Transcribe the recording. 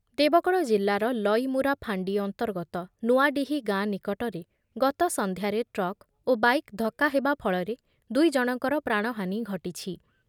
ଦେବଗଡ଼ ଜିଲ୍ଲାର ଲଇମୁରା ଫାଣ୍ଡି ଅନ୍ତର୍ଗତ ନୂଆଡିହି ଗାଁ ନିକଟରେ ଗତ ସନ୍ଧ୍ୟାରେ ଟ୍ରକ୍ ଓ ବାଇକ୍ ଧକ୍କା ହେବା ଫଳରେ ଦୁଇ ଜଣଙ୍କର ପ୍ରାଣହାନୀ ଘଟିଛି ।